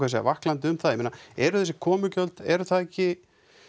segja vaklandi um það eru þessi komugjöld eru það ekki